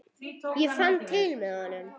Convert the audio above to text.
Ég fann til með honum.